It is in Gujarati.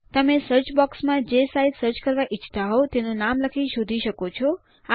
તમે સર્ચ બોક્સમાં જે સાઇટ સર્ચ કરવા ઈચ્છતા હોઉં તેનું નામ લખી શોધી શકો છો